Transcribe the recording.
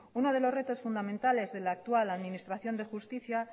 uno de los retos fundamentales del actual administración de justicia